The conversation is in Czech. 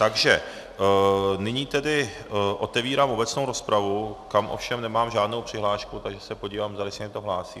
Takže nyní tedy otevírám obecnou rozpravu, kam ovšem nemám žádnou přihlášku, takže se podívám, zdali se někdo hlásí.